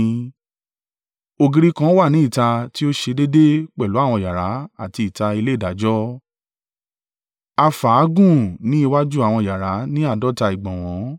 Ògiri kan wà ní ìta tí ó ṣe déédé pẹ̀lú àwọn yàrá àti ìta ilé ìdájọ́; a fà á gùn ní iwájú àwọn yàrá ní àádọ́ta ìgbọ̀nwọ́.